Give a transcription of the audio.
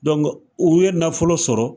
u ye nafolo sɔrɔ